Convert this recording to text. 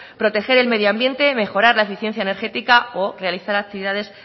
proteger el medio ambiente y mejorar la eficiencia energética o realizar actividades